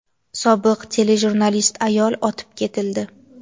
sobiq telejurnalist ayol otib ketildi.